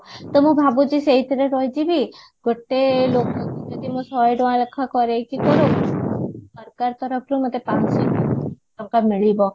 ତ ମୁଁ ଭାବୁଚି ସେଇଥିରେ ରହିଯିବି ଗୋଟେ ଯଦି ମୁଁ ଶହେ ଟଙ୍କ ଲେଖା କରେଇକି ସରକାର ତରଫରୁ ମତେ ପାଞ୍ଚଶହ ଟଙ୍କା ମିଳିବ